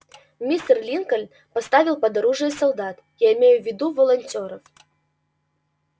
мистер линкольн поставил под оружие солдат я имею в виду волонтёров